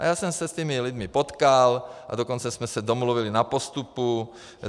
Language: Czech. A já jsem se s těmi lidmi potkal, a dokonce jsme se domluvili na postupu.